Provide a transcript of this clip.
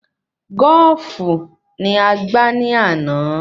Goofu ni a gbà ni àná